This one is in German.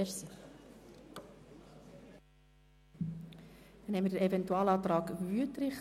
Wir haben einen Eventualantrag von Grossrat Wüthrich.